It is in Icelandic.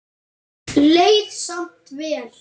Leið samt vel.